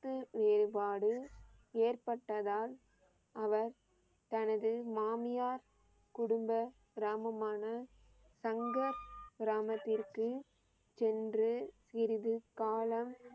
கருத்து வேறுபாடு ஏற்பட்டதால் அவர் தனது மாமியார் குடும்ப கிராமமான சங்கர் கிராமத்திற்கு சென்று சிறிது காலம்